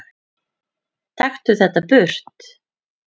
Taktu þetta burt!